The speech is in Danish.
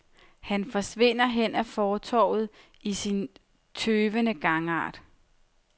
Han forsvinder hen ad fortovet i sin tøvende gangart.